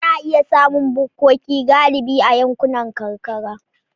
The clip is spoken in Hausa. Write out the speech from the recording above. Ana iya samun bukkoki galibi a yankunan karkara.